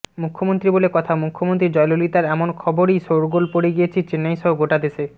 মুখ্যমন্ত্রী বলে কথা মুখ্যমন্ত্রী জয়ললিতার এমন খবরেই শোরগোল পড়ে গিয়েছে চেন্নাই সহ গোটা দেশে